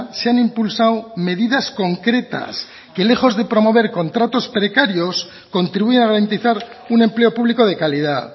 se han impulsado medidas concretas que lejos de promover contratos precarios contribuye a garantizar un empleo público de calidad